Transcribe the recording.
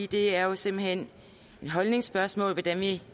det er jo simpelt hen et holdningsspørgsmål hvordan vi